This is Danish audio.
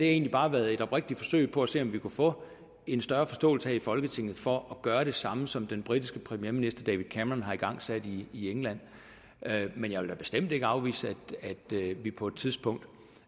egentlig bare været et oprigtigt forsøg på at se om vi kunne få en større forståelse her i folketinget for at gøre det samme som den britiske premierminister david cameron har igangsat i england men jeg vil da bestemt ikke afvise at vi på et tidspunkt